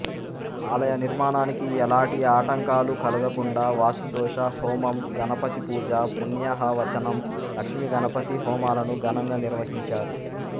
ఆలయ నిర్మాణానికి ఎలాటి ఆటంకాలు కలుగకుండా వాస్తుదోష హోమం గణపతిపూజ పుణ్యాహవచనం లక్ష్మీగణపతి హోమాలను ఘనంగా నిర్వహించారు